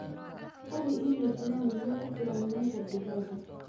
Hubi inay jiraan biyo ku filan meesha digaaga.